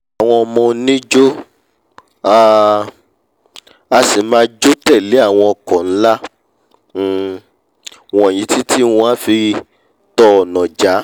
àwọn ọmọ oníjó a um sì máa jó tẹ̀lé àwọn ọkọ̀ nla um wọ̀nyí títí wọ́n á fi tọ ọ̀nà já